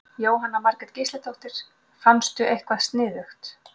Jóhanna Margrét Gísladóttir: Fannstu eitthvað sniðugt?